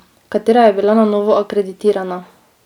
Katera je bila na novo akreditirana?